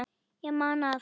Ég man að